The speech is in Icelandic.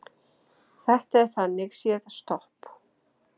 Þetta er þannig séð stopp